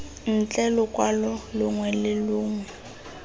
ntle lokwalo longwe le longwe